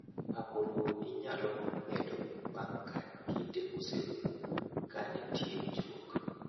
Pang'o lowo inyalo medo bang’ ka kinde oserumo ka mitie winjruok.